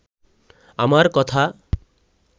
আমার কথা